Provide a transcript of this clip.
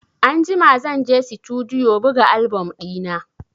Anjima zan je Situdiyo buga album ɗina.